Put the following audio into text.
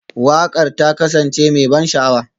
Waƙar ta kasance mai ban sha'awa?